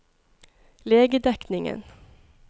legedekningen